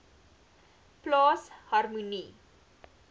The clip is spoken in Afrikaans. plaas harmonie